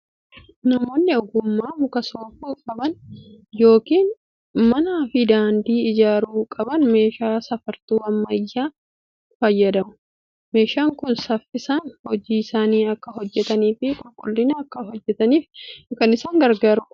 Namoonni ogummaa muka soofuu qaban yookiin manaa fi daandii ijaaruu qaban meeshaa safartuu ammayyaa kana fayyadamu. Meeshaan kun saffisaan hojii isaanii akka hojjetanii fi qulqullinaan akka hojjetaniif kan isaan gargaarudha.